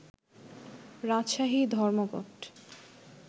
রাজশাহী ধর্মঘট